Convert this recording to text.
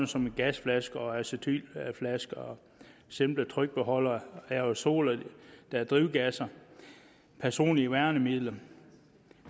som gasflasker og acetylflasker og simple trykbeholdere aerosoler der er drivgasser og personlige værnemidler